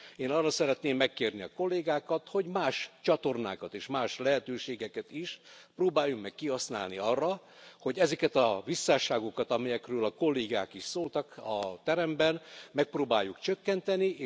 Én arra szeretném megkérni a kollégákat, hogy más csatornákat és más lehetőségeket is próbáljunk meg kihasználni arra, hogy ezeket a visszásságokat, amelyekről a kollégák is szóltak a teremben, megpróbáljuk csökkenteni.